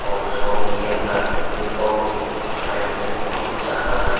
और शोरूम के अंदर जूतों की वैरायटी बहुत ज्यादा है।